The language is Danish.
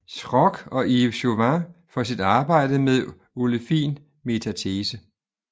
Schrock og Yves Chauvin for sit arbejde med olefin metatese